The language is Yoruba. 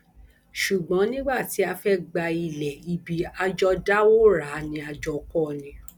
ṣùgbọn nígbà tí a fẹẹ gba ilẹ ibi a jọ dáwọ rà á ni a jọ kọ ọ ni